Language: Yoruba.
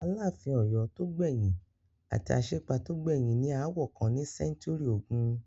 Aláàfin Ọ̀yọ́ tó gbẹ̀yìn àti Aṣípa tó jẹ gbẹ̀yìn ní aáwọ̀ kan ní sẹ́ńtúrì ogún.